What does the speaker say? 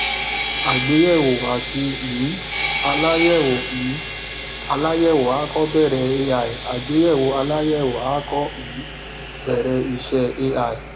àgbéyèwò àti um aláyèwò um aláyèwò à kọ bẹrẹ ai àgbéyèwò aláyẹwò à kọ um bẹrẹ iṣẹ ai